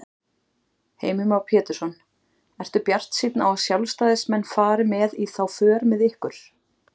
Heimir Már Pétursson: Ertu bjartsýn á að sjálfstæðismenn fari með í þá för með ykkur?